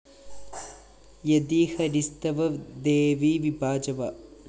യതി ഹരിസ്തവ ദേവി വിഭാജവ